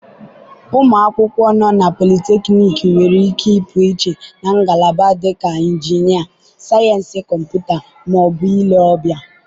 ụmụ akwụkwọ nọ na polytechnics nwere ike ịpụiche na ngalaba dịka injinia, sayensị kọmputa, ma ọ bụ ile ọbịa.